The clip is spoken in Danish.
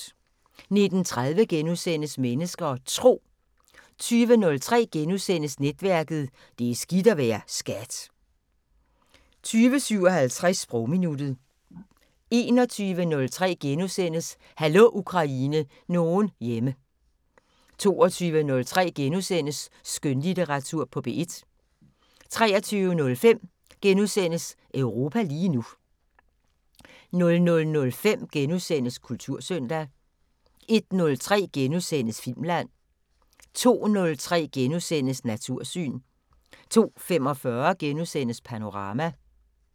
19:30: Mennesker og Tro * 20:03: Netværket: Det er skidt at være SKAT * 20:57: Sprogminuttet 21:03: Hallo Ukraine – nogen hjemme * 22:03: Skønlitteratur på P1 * 23:05: Europa lige nu * 00:05: Kultursøndag * 01:03: Filmland * 02:03: Natursyn * 02:45: Panorama *